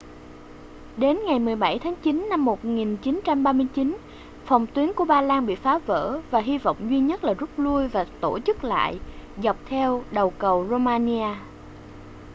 đến ngày 17 tháng chín năm 1939 phòng tuyến của ba lan bị phá vỡ và hy vọng duy nhất là rút lui và tổ chức lại dọc theo đầu cầu romania